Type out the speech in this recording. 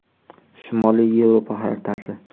Shimoliy Yevropa xaritasi.